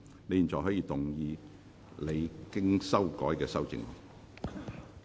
你現在可以動議你經修改的修正案。